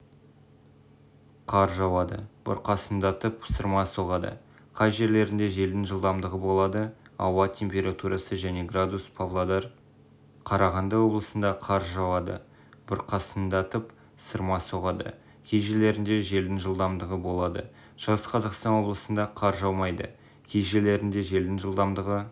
қар жауады бұрқасындатып сырма соғады кей жерлерінде желдің жылдамдығы болады ауа температурасы және градус павлодар